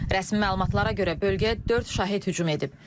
Rəsmi məlumatlara görə bölgəyə dörd şahid hücum edib.